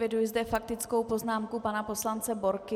Eviduji zde faktickou poznámku pana poslance Borky.